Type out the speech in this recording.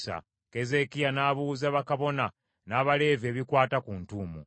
Keezeekiya n’abuuza bakabona n’Abaleevi ebikwata ku ntuumu.